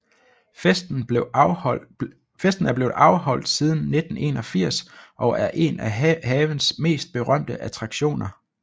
Festen er blevet afholdt siden 1981 og er en af havens mest berømte attraktioner